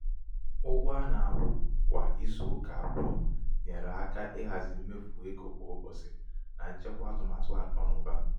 ụgwọ ana-akwụ kwa ịzụ ụka abụọ nyere aka ịhazi mmefu égo kwa ụbọchị na na nchekwa atụmatụ akụnaụba.